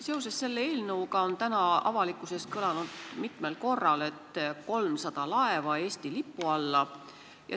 Seoses selle eelnõuga on täna avalikkuses mitmel korral kõlanud "300 laeva Eesti lipu alla".